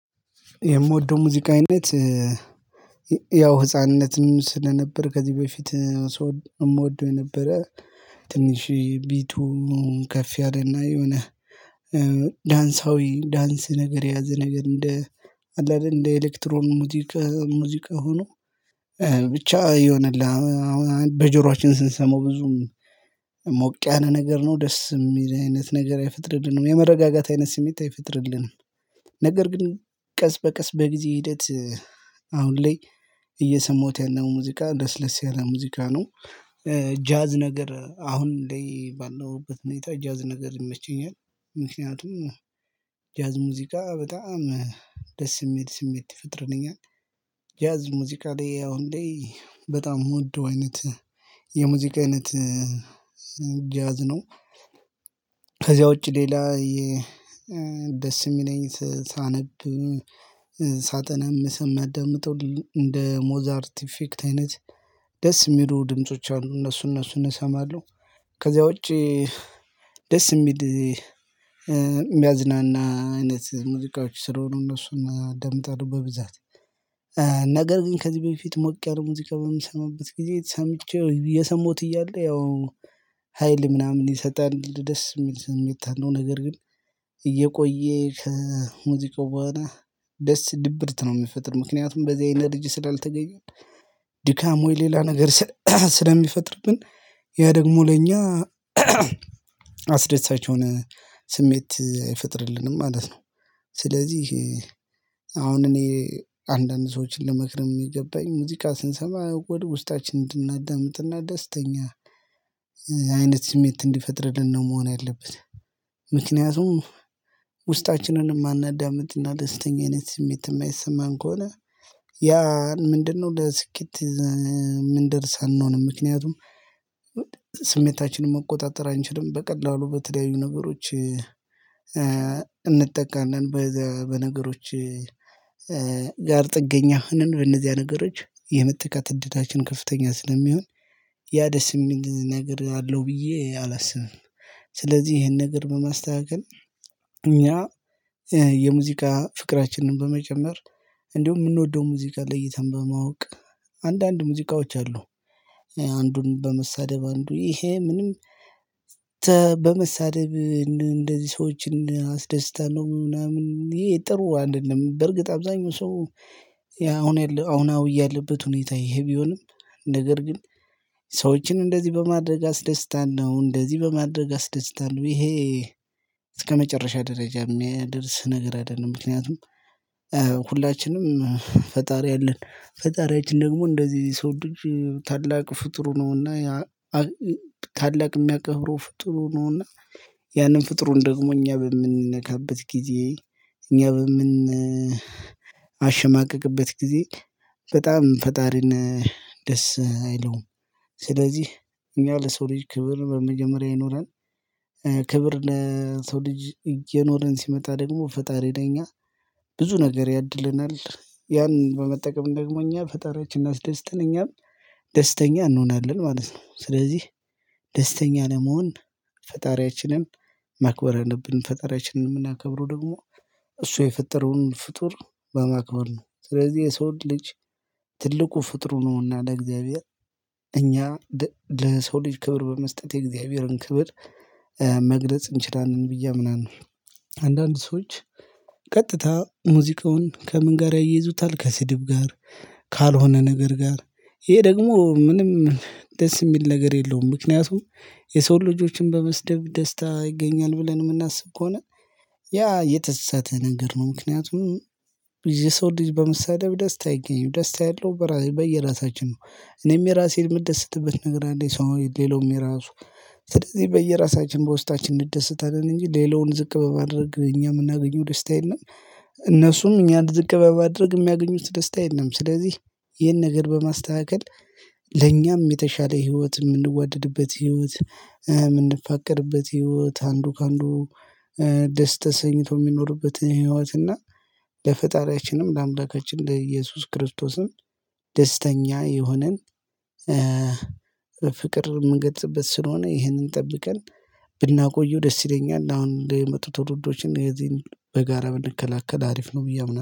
የምወደው ሙዚቃ አይነት ያው ህፃንነትም ስለነበር ከዚህ በፊት እምወደው የነበረ ትንሽ ቢቱ ከፍ ያለ እና የሆነ ዳንሳዊ ዳንስ ነገር የያዘ ነገር እንደ አለ አይደል እንደ ኤሌክትሮን ሙዚቅ ሙዚቃ ሆኖ ብቻ ይሆንልህ በጆሮአችን ስንሰማው ብዙም ሞቅ ያነን ነገር ነው ደስም የሚል አይነት ነገር አይፈጥርልንም። የመረጋጋት አይነት ስሜት አይፈጥርልንም። ነገር ግን ቀስ በቀስ በጊዜ ሂደት አሁን ላይ እየሰማሁት ያለ ሙዚቃ ለስ ለስ ያለ ሙዚቃ ነው። ጃዝ ነገር አሁን ለይ ባለሁበት ሁኔታ ጃዝ ነገር ይመቸኛል ምክንያቱም ጃዝ ሙዚቃ በጣም ደስ የሚል ስሜት ይፈጥልኛ። ጃዝ ሙዚቃ ላይ አሁን ላይ በጣም ምወደው አይነት የሙዚቃ አይነት ጃዝ ነው። ከዚያ ውጪ ሌላ ደስ የሚለኝ ሳነብ ሳጠናም አምሰም ማዳምጠው እንደ ሞዛርት ኢፌክት አይነት ደስ የሚሉ ድምጾች አሉ እነሱ እነሱን እሰማለሁ። ከዛ ውጪ ደስ የሚል የሚያዝናና አይነት ሙዚቃዎች ስለሆኑ እነሱን አዳምጣለሁ በብዛት። ነገር ግን ከዚህ በፊት ሞቅ ያለ ሙዚቃ በምሰማበት ጊዜ ሰምቼው እየሰማሁት እያለ ያው ሀይል ምናምን ይሰጣል ደስ የሚል ስሜት አለው። ነገር ግን እየቆየ ከሙዚቃው በኋላ ደስ ድብርት ነው የሚፈጥር ምክንያቱም በዚህ ኢነርጂ ስላልተገኘን ድካሙ የሌላ ነገር ስለሚፈጥርብን ያ ደግሞ ለኛ አስደሳች የሆነ ስሜት አይፈጥርልንም ማለት ነው። ስለዚህ አሁን እኔ አንዳንድ ሰዎችን ልመክርም የሚገባኝ ሙዚቃ ስንሰማ ወደ ውስጣችን እንድናዳምጥና ደስተኛ አይነት ስሜት እንዲፈጥርልን ነው መሆን ያለበት። ምክንያቱም ውስጣችንንም እማናዳምጥና ደስተኛ አይነት ስሜት የማይሰማን ከሆነ ያ ምንድነው? ለስኬት ምንደርስ አንሆንም። ምክንያቱም ስሜታችንን መቆጣጠር አንችልም በቀላሉ በተደያዩ ነገሮች እንጠቃናለን። በነገሮች ጋር ጥገኛ ሆነን በእነዚያ ነገሮች የመጠቃት እድላችን ከፍተኛ ስለሚሆን። ያ ደስ የሚል ነገር አለው ብዬ አላስብም። ስለዚህ ይሄን ነገር በማስተካከል እኛ የሙዚቃ ፍቅራችንን በመጨመር እንዲሁም ምንወደውን ሙዚቃ ለይተን በማወቅ አንዳንድ ሙዚቃዎች አሉ። አንዱን በመሳደብ አንዱ ይሄ ምንም በመሳደብ እንደዚህ ሰዎችን አስደስታለሁ ምናምን ይሄ ጥሩ አይደለም። በርግጥ አብዛኛው ሰው አሁን አሁናዊ ያለበት ሁኔታ ይሄ ቢሆንም ነገር ግን ሰዎችን እንደዚህ በማድረግ አስደስታለሁ እንደዚህ በማድረግ አስደስታለሁ ይሄ እስከመጨረሻ ደረጃ የሚያደርስ ነገር አይደለም። ምክንያቱም ሁላችንም ፈጣሪ አለን ፈጣሪያችን ደግሞ እንደዚህ ሰው ልጅ ታላቅ ፍጡር ነውና። ታላቅ የሚያከብረው ፍጡር ነውና ያንን ፍጡር ደግሞ እኛ በምንነካበት ጊዜ። እኛ በምን አሽማቀቅበት ጊዜ በጣም ፈጣሪን ደስ አይለውም። ስለዚህ እኛ ለሰው ልጅ ክብር በመጀመሪያ ይኖራል። ክብር ሰው ልጅ እየኖርን ሲመጣ ደግሞ ፈጣሪ ለኛ ብዙ ነገር ያድለናል ያን በመጠቀም ደግሞ እኛ ፈጣሪያችን አስደስተን እኛም ደስተኛ እንሆናለን ማለት ነው። ስለዚህ ደስተኛ ለመሆን ፈጣሪያችንን ማክበር አለብን። ፈጣሪያችንን የምናከብረው ደግሞ እሱ የፈጠረውን ፍጡር በማክበር ነው። ስለዚህ የሰውን ልጅ ትልቁ ፍጡሩ ነውና ለእግዚአብሔር እኛ ለሰው ልጅ ክብር በመስጠት የእግዚአብሔርን ክብር መግለጽ እንችላለን ብዬ አምናለሁ። አንዳንድ ሰዎች ቀጥታ ሙዚቃውን ከምን ጋር ያይዙታል ከስድብ ጋር ካልሆነ ነገር ጋር ይሄ ደግሞ ምንም ደስ የሚል ነገር የለውም። ምክንያቱም የሰው ልጆችን በመስደብ ደስታ ይገኛል ብለን የምናስብ ከሆነ ያ የተሰተነ ነገር ነው። ምክንያቱም የሰው ልጅ በምሳሌ ደስታ አይገኝም ደስታ ያለው በየራሳችን ነው። እኔም የራሴን የምደሰትበት ነገር አለኝ። ሰው ሌላውም የራሱ ስለዚህ በየራሳችን በውስጣችን እንደሰታለን እንጂ ሌላውን ዝቅ በማድረግ እኛ የምናገኘው ደስታ የለም። እነሱም እኛን ዝቅ በማድረግ የሚያገኙት ደስታ የለም። ስለዚህ ይህን ነገር በማስተካከል ለኛም የተሻለ ህይወት የምንዋደድበት ህይወት የምንፋቀርበት ህይወት አንዱ ከአንዱ ደስ ተሰኝቶ የሚኖርበትን ህይወት እና ለፈጣሪያችንም ለአምላካችን ለኢየሱስ ክርስቶስም ደስተኛ የሆነን በፍቅር የምንገልጽበት ስለሆነ ይህንን ጠብቀን ብናቆየው ደስ ይለኛል። አሁን ለመጡት ትውልዶችም የዚህን በጋራ ብንከላከል አሪፍ ነው ብዬ አምናለሁ